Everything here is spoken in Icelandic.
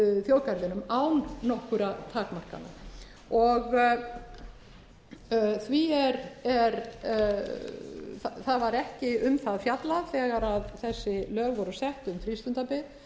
þjóðgarðinum án nokkurra takmarkana það var ekki um það fjallað þegar þessi lög voru sett um frístundabyggð